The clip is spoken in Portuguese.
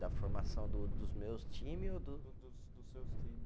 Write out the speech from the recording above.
Da formação do dos meus time ou do. Do do dos, dos seus times